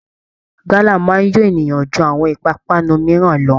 Gálà máa ń yó èèyàn ju àwọn ìpápánu mìíràn lọ